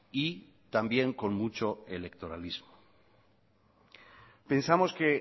y también con mucho electoralismo pensamos que